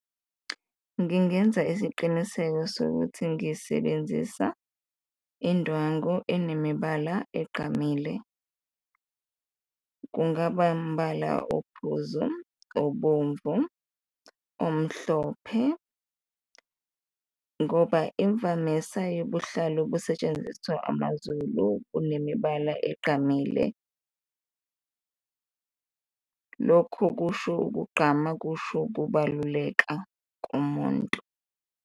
Ngingenza isiqiniseko sokuthi ngisebenzisa indwangu enemibala egqamile, kungaba mbala ophuzu, obomvu, omhlophe ngoba imvamisa yobuhlalo busetshenziswa amaZulu kunemibala egqamile, lokho kusho ukugqama, kusho ukubaluleka komuntu.